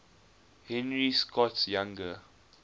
henry scott's younger